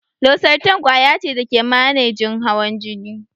Losartan ƙwaya ce da ke manejin hawan jini.